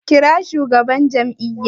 Kira shugaban jam'iyya!